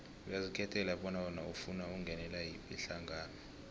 uyazikhethela bona wena ufuna ukungenela yiphi ihlangano